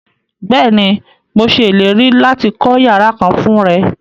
Bẹ́ẹ̀ni, mo ṣẹ ilẹ̀rí láti kọ yàrà kán fún rẹ.